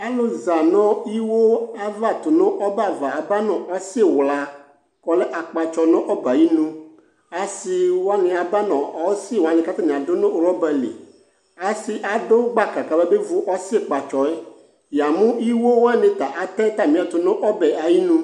alʋ zanu iwo Ava tʋnʋ ɔbɛ ava aba nʋ ɔsiwla kɔlɛ akpatsɔ nu ɔbɛ ayinu asiwani abanu ɔsiiwani kaduma nʋ robali asi adʋ gbaka kamabevu ɔsiiwlaɛ yamu iwo wanita atɛ atamiɛtʋ nʋ ɔbɛ ayinu